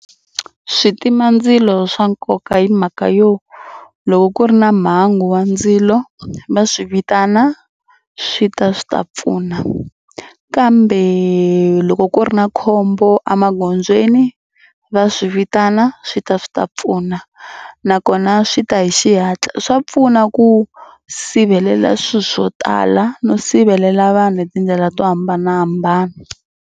Switimandzilo swa nkoka hi mhaka yo loko ku ri na mhangu wa ndzilo va swi vitana swi ta swi ta pfuna kambe loko ku ri na khombo emagondzweni va swi vitana swi ta swi ta pfuna nakona swi ta hi xihatla. Swa pfuna ku sivelela swilo swo tala no sivelela vanhu hi tindlela to hambanahambana.